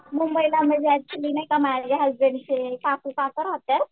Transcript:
मुंबईला नाही का ऍक्च्युली म्हणजे माझ्या हसबंडचे काका काकू राहतात.